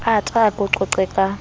ata a ko qoqe ka